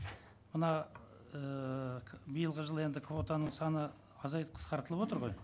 мына ііі биылғы жылы енді квотаның саны азайтып қысқартылыватыр ғой